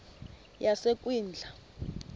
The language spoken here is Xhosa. yasekwindla